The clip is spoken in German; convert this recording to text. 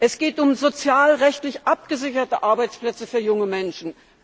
Es geht um sozialrechtlich abgesicherte Arbeitsplätze für junge Menschen.